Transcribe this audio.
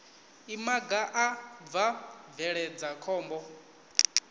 imaga a bva bveledza khombo